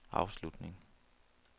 afslutning